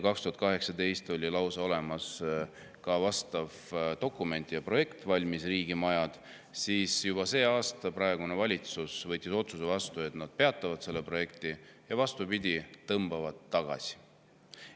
2018 oli lausa olemas ka, aga tänavu praegune valitsus võttis vastu otsuse, et nad peatavad selle programmi ja vastupidi, tõmbavad selle tegevuse tagasi.